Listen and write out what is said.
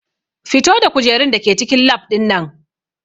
Fito da kujerun da ke cikin lab ɗin nan!